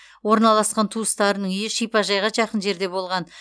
орналасқан туыстарының үйі шипажайға жақын жерде болған